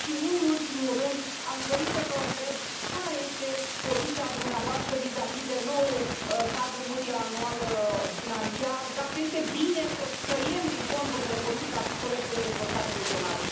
Nu în ultimul rând, aș dori să vă întreb care este poziția dumneavoastră vizavi de noul cadru financiar multianual, dacă este bine să tăiem din fondurile de politică agricolă și de dezvoltare regională.